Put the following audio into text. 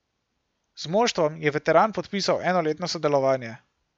Z moštvom je veteran podpisal enoletno sodelovanje.